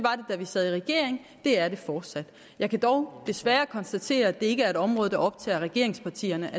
da vi sad i regering det er det fortsat jeg kan dog desværre konstatere at det ikke er et område der optager regeringspartierne